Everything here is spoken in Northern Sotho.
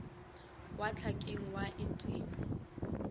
wa hlakeng ba et e